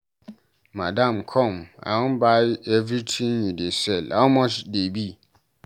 Madam come, I wan buy everything you dey sell, how much dey be?